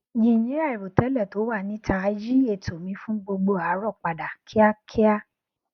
yinyin àìròtélè to wa nita yi eto mi fun gbogbo aarọ padà kíákíá